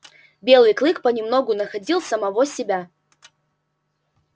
белый клык понемногу находил самого себя